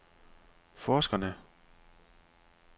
forskerne